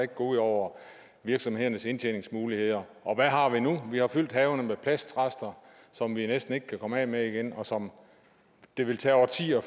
gå ud over virksomhedernes indtjeningsmuligheder og hvad har vi nu vi har fyldt havene med plastrester som vi næsten ikke kan komme af med igen og som det vil tage årtier at